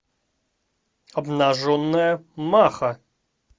обнаженная маха